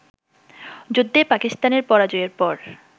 যুদ্ধে পাকিস্তানের পরাজয়ের পর